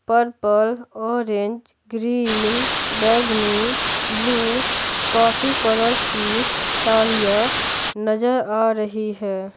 Purple orange green बैंगनी blue काफी colours की सारियां नजर आ रही है।